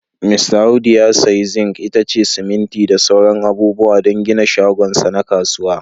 Mista Audu ya sayi zinc, itace, siminti da sauran abubuwa don gina shagon sa na kasuwa.